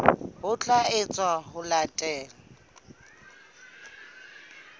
ho tla etswa ho latela